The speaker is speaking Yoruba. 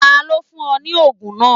Tani o fun ọ ni oogun naa?